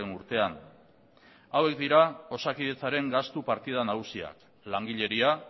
urtean hauek dira osakidetzaren gastu partida nagusiak langileria